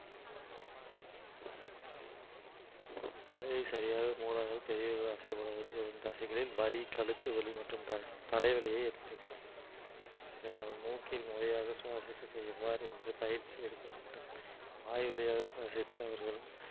சரியாக மூடாமல் பெரியவர்கள் வரும் தசைகளில் வலி கழுத்து வலி மற்றும் த~ தலைவலியை ஏற்படுத்தும் இதனால் மூக்கில் முறையாக சுவாசிப்பது எவ்வாறு என்று பயிற்சி எடுக்க வேண்டும் வாய் வழியாக சுவாசிக்க